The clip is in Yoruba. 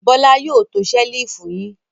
Bọ́lá yóò to ṣẹ́lífù yín.